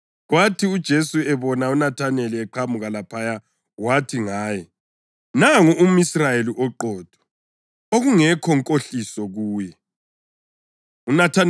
Kwathi uJesu ebona uNathaneli eqhamuka laphaya wathi ngaye, “Nangu umʼIsrayeli oqotho, okungekho nkohliso kuye.”